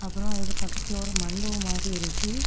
அப்புறம் அதுக்கு பக்கத்துல ஒரு மண்டபம் மாரி இருக்கு.